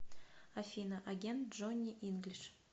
афина агент джонни инглиш